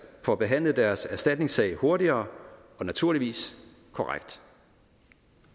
får behandlet deres erstatningssag hurtigere og naturligvis korrekt